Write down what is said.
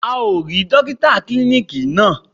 A ò rí Dókítà klíníkì náà.